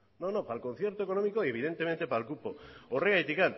no no para el concierto económico evidentemente para el cupo